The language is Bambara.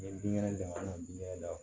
N ye binkɛnɛ don an na dun yɛrɛ la